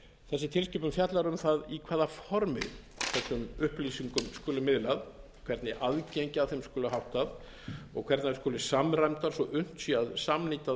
þessi tilskipun fjallar um það í hvaða formi þessum upplýsingum skuli miðlað hvernig aðgengi að þeim skuli háttað og hvernig þær skuli samræmdar svo unnt sé að samnýta